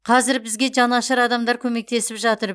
қазір бізге жанашыр адамдар көмектесіп жатыр